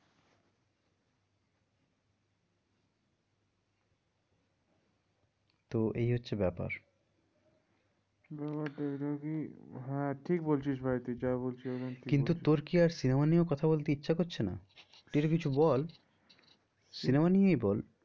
তো এই হচ্ছে ব্যাপার হ্যাঁ ঠিক বলছিস ভাই তুই যা বলছিস এখন ঠিক বলছিস। কিন্তু তোর কি আর cinema নিয়েও কথা বলতে ইচ্ছা করছে না? তুই একটা কিছু বল cinema নিয়েই বল।